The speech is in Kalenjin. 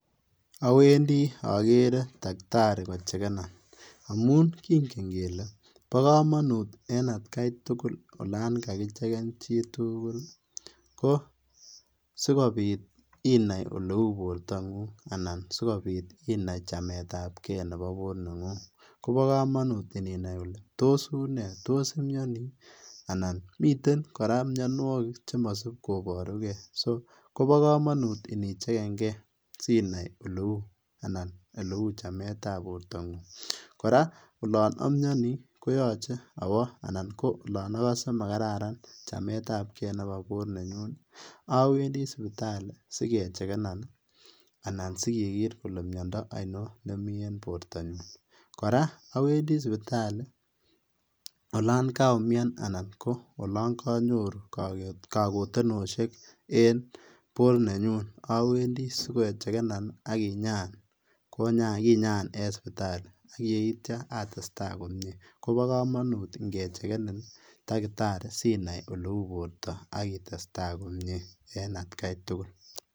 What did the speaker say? Awendi okeree takitari kochekenan, amun king'en kelee boo komonut en atkai tukul oloon kakicheken chitukul ko sikobit inaii oleuu bortang'ung anan sikobit inaii chametabkee neboo boor neng'ung, bokomonut inaii ilee toos iunee, toos imionii anan miten kora mionwokik chemosib koborukee, soo kobokomonut inichekeng'e sinaii oleuu anan oleuu chametab bortang'ung, kora oloon omioni koyoche awoo anan ko oloon okose makararan chametabkee neboo boor nenyuun awendi sipitali sikechekenan anan sikeker kelee miondo onion nemii en bortanyun, kora awendi sipitali olaan kaumian anan ko oloon konyoru kakotenoshek en boor nenyun, awendii sikechekenan akinyaan, kinyaan en sipitali ak yeityo atestaa komie, kobokomonut ing'echekenin takitari sinai oleuu borto akitesta komnyee en atkai tukul.